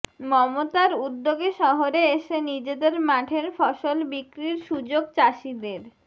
মমতার উদ্যোগে শহরে এসে নিজেদের মাঠের ফসল বিক্রির সুযোগ চাষিদের